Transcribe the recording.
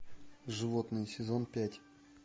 животные сезон пять